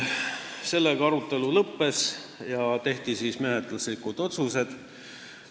Sellega arutelu lõppes ja tehti menetluslikud otsused.